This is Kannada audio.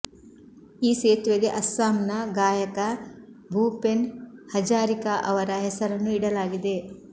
ಈ ಸೇತುವೆಗೆ ಅಸ್ಸಾಂನ ಗಾಯಕ ಭೂಪೆನ್ ಹಜಾರಿಕಾ ಅವರ ಹೆಸರನ್ನು ಇಡಲಾಗಿದೆ